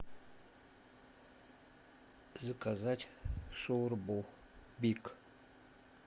заказать шаурму биг